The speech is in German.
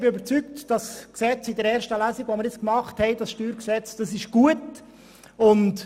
Ich bin davon überzeugt, dass das StG, welches wir in erster Lesung behandelt haben, gut ist.